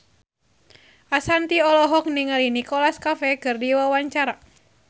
Ashanti olohok ningali Nicholas Cafe keur diwawancara